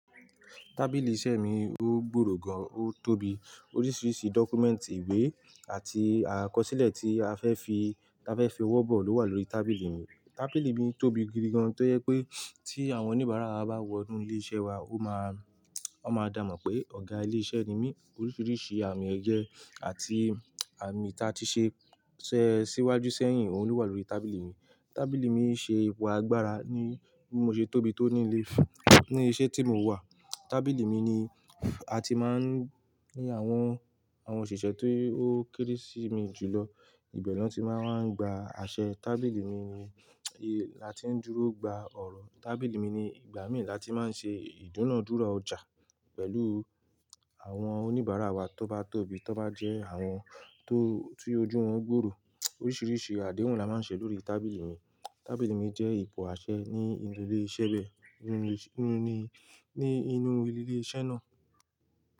Tábìlì iṣẹ́ mi ó gbòòrò gan, ó tóbi. Oríṣiríṣi dọ́kúmẹ̀ǹtì ìwé àti àkọsílẹ̀ tí a fẹ́ fi, tí a fẹ́ fi ọwọ́ bọ̀ ló wà lórí tábìlì mi. Tábìlì mi tóbi gidi gan tó yẹ pé tí àwọn oníbàárà wa bá wọ inú ilé iṣẹ́ wa ó máa, wọn máa dààmọn pé Ọ̀gá ilé iṣẹ́ ni mí. Oríṣiríṣi àmì ẹ̀yẹ àti àmì tí a ti ṣe ṣẹ́ síwájú sẹ́yìn òun ló wà lórí tábìlì mi. Tábìlì mi ń ṣe ipò agbára ní bí mo ṣe tóbi tó ní ilé, ní iṣẹ́ tí mò wà. Tábìlì mi ni a ti máa ń ní àwọn, àwọn òṣìṣẹ́ ti ó kéré sí i mi jùlọ ìbẹ̀ ni wọn ti máa ń gba àṣẹ. Tábìlì mi ni láti ń dúró gba ọ̀rọ̀. Tábìlì mi ni ìgbà mìí láti máa ń ṣe ìdúnàádúrà ọjà pẹ̀lú àwọn oníbàárà wa tó bá tóbi, tó bá jẹ́ àwọn tó ti ojú wọn gbòòrò. Oríṣiríṣi àdéhùn la máa ń ṣe lórí tábìlì mi. Tábìlì mi jẹ́ ipò àṣẹ ní inú ilé iṣẹ́ bẹ́ẹ̀, nínú ilé iṣẹ́, ní inú ilé iṣẹ́ náà.